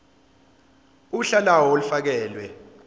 uhla lawo olufakelwe